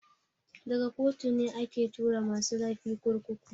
Daga kotu ne ake tura masu laifi kurkuku.